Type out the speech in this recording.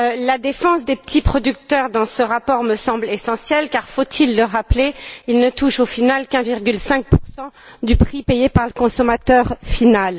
La défense des petits producteurs dans ce rapport me semble essentielle car, faut il le rappeler, ils ne touchent au final que 1,5 du prix payé par le consommateur final.